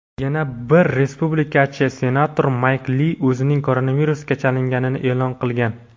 yana bir respublikachi senator Mayk Li o‘zining koronavirusga chalinganini e’lon qilgan.